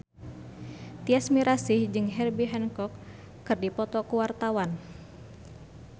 Tyas Mirasih jeung Herbie Hancock keur dipoto ku wartawan